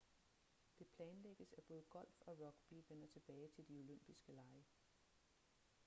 det planlægges at både golf og rugby vender tilbage til de olympiske lege